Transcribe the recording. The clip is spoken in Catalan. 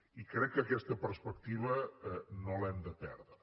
i crec que aquesta perspectiva no l’hem de perdre